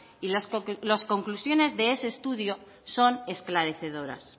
y las conclusiones de ese estudio son esclarecedoras